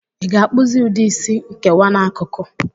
Ị ga-akpụzi ụdị Ịsị nkewa n'akụkụ?